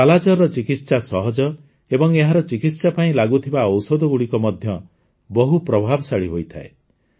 କାଲାଜାରର ଚିକିତ୍ସା ସହଜ ଏବଂ ଏହାର ଚିକିତ୍ସା ପାଇଁ ଲାଗୁଥିବା ଔଷଧଗୁଡ଼ିକ ମଧ୍ୟ ବହୁ ପ୍ରଭାବଶାଳୀ ହୋଇଥାଏ